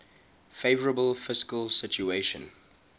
favourable fiscal situation